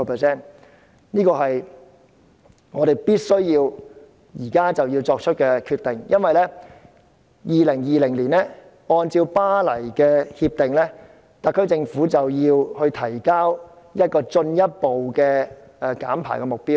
這個是我們現時必須作出的決定。因為按照《巴黎協定》，特區政府到2020年便要提交一個進一步的減排目標。